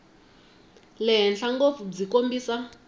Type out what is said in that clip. le henhla ngopfu byi kombisa